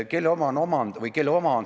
Kelle oma see sammas on?